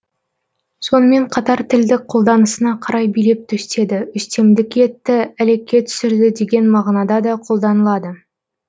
сонымен қатар тілдік қолданысына қарай билеп төстеді үстемдік етті әлекке түсірді деген мағынада да колданылады